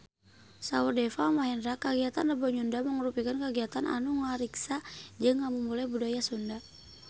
Saur Deva Mahendra kagiatan Rebo Nyunda mangrupikeun kagiatan anu ngariksa jeung ngamumule budaya Sunda